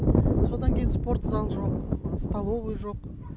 содан кейін спорт залы жоқ столовый жоқ